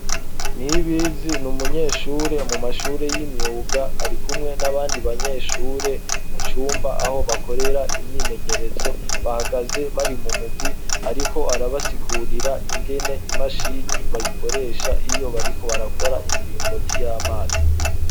Nibizi n’umunyeshure mu mashure y'imyuga ari kumwe n'abandi banyeshure mu cumba aho bakorera imyimenyerezo bahagaze bari mu mugwi ariko arabasigurira ingene imashini bayikoresha iyo bariko barakora imiringoti y'amazi.